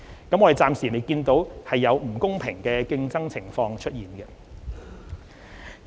我們暫未見到有不公平競爭的情況出現。